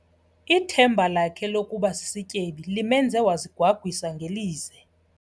Ithemba lakhe lokuba sisityebi limenze wazigwagwisa ngelize.